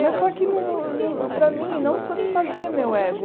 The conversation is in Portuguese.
Mas só que, não não para mim, não satisfazia meu ego.